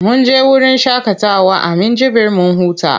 Mun je wurin shaƙatawa na Minjibir mun huta.